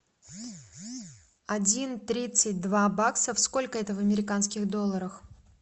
один тридцать два баксов сколько это в американских долларах